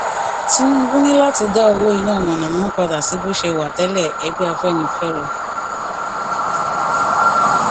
tinúbú ní láti dá owó iná mọnàmọná padà sí bó ṣe wà tẹlẹ ẹgbẹ afẹnifẹre